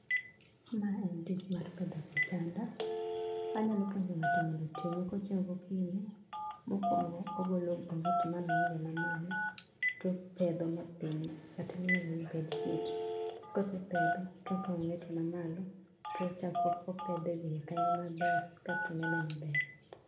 Ma en tich mar pedho kitanda. Anyalo puonjo ng'ato mondo otime kochieo gokinyi. Mokwongo, ogolo onget manoninde mamalo topedho mapiny kata miluongo ni bedsheet. Kosepedho, tokao onget mamalo, tochako opedhe wiye kanyo maber kasto neno maber.